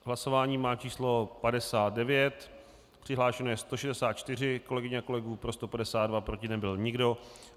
Hlasování má číslo 59, přihlášeno je 164 kolegyň a kolegů, pro 152, proti nebyl nikdo.